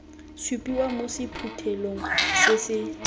supiwa mo sephuthelong se se